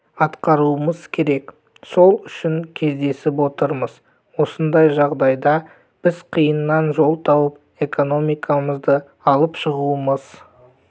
атқаруымыз керек сол үшін кездесіп отырмыз осындай жағдайда біз қиыннан жол тауып экономикамызды алып шығуымыз